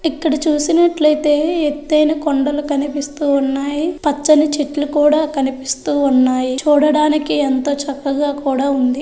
ఇక్కడ చూసినట్లయితే ఎత్తయిన కొండలు కనిపిస్తూ ఉన్నాయి. పచ్చని చెట్లు కూడా కనిపిస్తూ ఉన్నాయి. చూడడానికి ఎంతో చక్కగా కూడా ఉంది.